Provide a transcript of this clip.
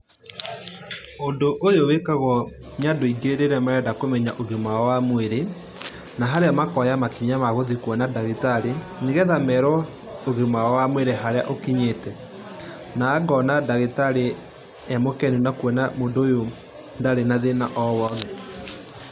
Ũndũ ũyũ wĩkagwo nĩ andũ aingĩ rĩrĩa marenda kũmenya ũgima wao wa mwĩrĩ, na harĩa makoya makinya magũthiĩ kũona ndagĩtarĩ nĩgetha merũo harĩa ũgima wao wamwĩri ũkinyĩte. Na ngona ngagitarĩ emũkenu nakũona mũndũ ũyũ ndarĩ na thĩna wa o wothe.